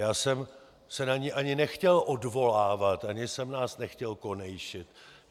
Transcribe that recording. Já jsem se na ni ani nechtěl odvolávat, ani jsem nás nechtěl konejšit.